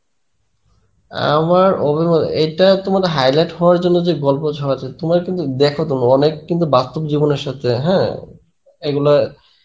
অ্যাঁ আমার অভিমত, এটা তোমার highlight হবার জন্যে যে গল্প ছড়াচ্ছে তোমরা কিন্তু দেখো তুমি অনেক বাস্তব জীবনের সাথে হ্যাঁ এইগুলো